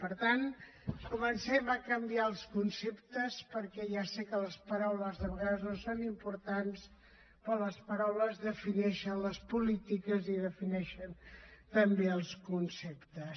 per tant comencem a canviar els conceptes perquè ja sé que les paraules de vegades no són importants però les paraules defineixen les polítiques i defineixen també els conceptes